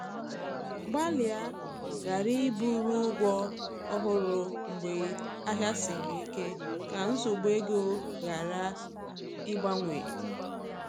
Gbalịa ghara iburu ụgwọ ọhụrụ mgbe ahịa siri ike, ka nsogbu ego ghara ịgbawanye